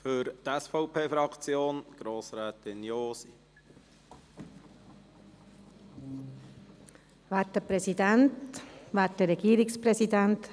Über den Sinn und Zweck dieses Planungskredits wurde inzwischen ausführlich gesprochen.